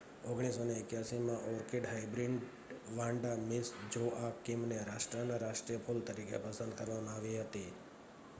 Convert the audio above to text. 1981માં orchid hybrid Vanda Miss જોઆકિમને રાષ્ટ્રનાં રાષ્ટ્રીય ફૂલ તરીકે પસંદ કરવામાં આવી હતી